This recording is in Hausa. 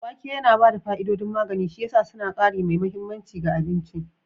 Wake yana ba da fa'idodin magani, shi ya sa suna ƙari mai mahimmanci ga abinci